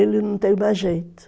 Ele não tem mais jeito.